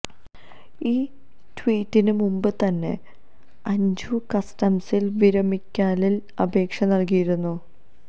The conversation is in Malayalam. ഈ ട്വീറ്റിന് മുമ്പ് തന്നെ അഞ്ജു കസ്റ്റംസിൽ വിരമിക്കലിന് അപേക്ഷ നൽകിയിരുന്നു